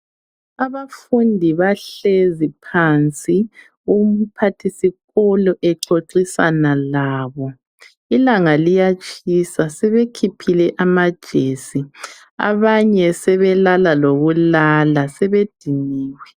Abafundi bahlezi phansi umphathi sikolo exoxisana labo ilanga liyatshisa sebekhiphile amajesi abanye sebelala lokulala sebediniwe.